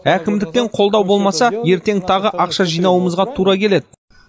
әкімдіктен қолдау болмаса ертең тағы ақша жинауымызға тура келеді